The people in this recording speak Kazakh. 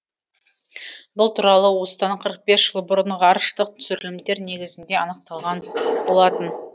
бұл туралы осыдан қырық бес жыл бұрын ғарыштық түсірілімдер негізінде анықталған болатын